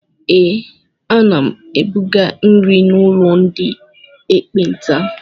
Ee, ana m ebuga nri n'ụlọ ndị ekpenta.